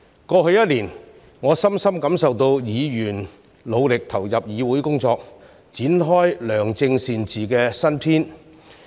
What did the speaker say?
過去一年，我深深感受到議員努力投入議會工作，展開良政善治的新篇。